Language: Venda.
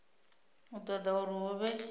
u ṱoḓa uri hu vhe